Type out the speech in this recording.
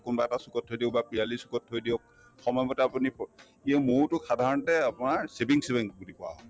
কোনবা এটা চুকত থৈ দিব বা পিৰালীৰ চুকত থৈ দিয়ক সময়মতে আপুনি মৌতো সাধাৰণতে আপোনাৰ savings bank বুলি কোৱা হয়